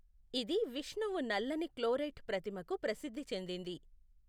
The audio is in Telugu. ఇది విష్ణువు నల్లని క్లోరైట్ ప్రతిమకు ప్రసిద్ధి చెందింది.